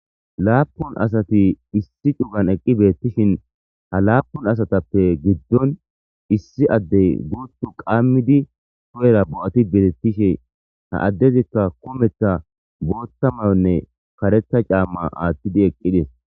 Laapun asati issi cugan eqqi beettishin ha laapun asatappe giddon issi addey guutu qammidi toyera bo'ati betettishe ha addezikka kumetha bootta mayonne karetha caamma aathtidi eqqides